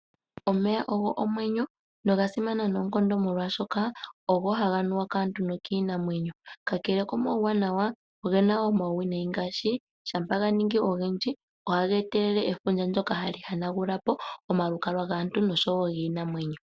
Omeya ogo omwenyo noga simana noonkondo molwaashoka ogo haga nu wa kaantu nokiinamwenyo. Kakele komauwanawa, ogena woo omauwinayi ngaashi shampa ga ningi ogendji ohaga etelele efundja ndjoka hali hanagula po omalukalwa gaantu nosho woo giinamwenyo.